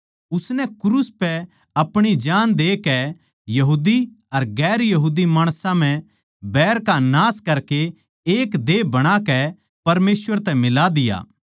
उसनै क्रूस पै अपणी जाण देकै यहूदीअर गैर यहूदी माणसां म्ह बैर का नाश करकै एक देह बणाकै परमेसवर तै मिला दिया